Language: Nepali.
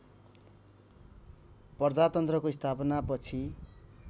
प्रजातन्त्रको स्थापनापछि